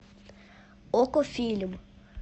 окко фильм